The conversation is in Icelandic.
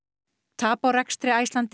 tap á rekstri Icelandair